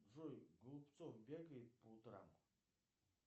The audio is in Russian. джой голубцов бегает по утрам